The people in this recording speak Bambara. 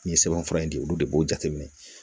Nin ye sɛbɛnfura in di olu de b'o jateminɛ